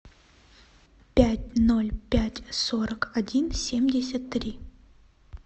пять ноль пять сорок один семьдесят три